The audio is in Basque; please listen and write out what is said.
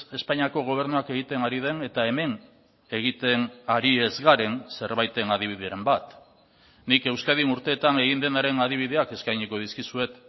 espainiako gobernuak egiten ari den eta hemen egiten ari ez garen zerbaiten adibideren bat nik euskadin urteetan egin denaren adibideak eskainiko dizkizuet